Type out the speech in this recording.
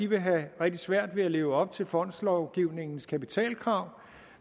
vil have rigtig svært ved at leve op til fondslovgivningens kapitalkrav